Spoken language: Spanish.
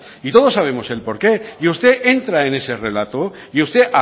y todos sabemos el porqué y usted entra en ese relato y usted